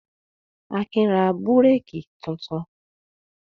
Akin ra búrékì tuntun?